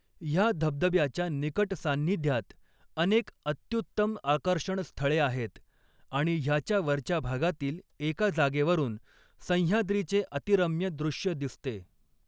ह्या धबधब्याच्या निकट सान्निध्यात अनेक अत्युत्तम आकर्षण स्थळे आहेत आणि ह्याच्या वरच्या भागातील एका जागेवरून सह्याद्रीचे अतिरम्य दृश्य दिसते.